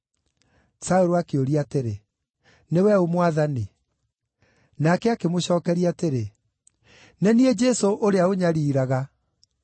Saũlũ akĩũria atĩrĩ, “Nĩwe ũ, Mwathani?” Nake akĩmũcookeria atĩrĩ, “Nĩ niĩ Jesũ ũrĩa ũnyariiraga.